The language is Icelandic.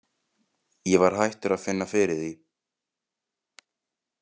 Ég var hættur að finna fyrir því.